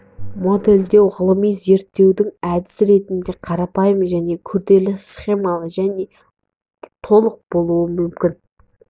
модельдеу ғылыми зерттеудің әдісі ретінде қарапайым және күрделі схемалы және толық болуы мүмкін